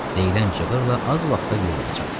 Deyilən cığırlala az vaxta villaya çatdı.